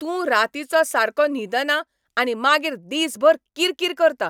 तूं रातीचो सारको न्हिदना आनी मागीर दिसभर किरकिर करता.